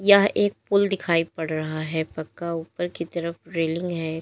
यह एक पूल दिखाई पड़ रहा है पक्का ऊपर की तरफ रेलिंग है।